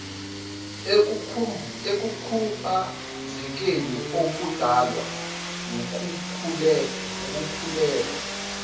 ekukhubazekeni okudalwa wukukhulelwa